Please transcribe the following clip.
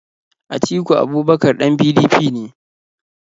Atiku Abubakar ɗan PDP ne.